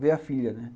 Veio a filha, né?